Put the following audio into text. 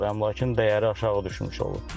Əmlakın dəyəri aşağı düşmüş olur.